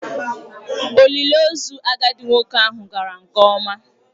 Olili ozu agadi nwoke ahụ gara nke ọma.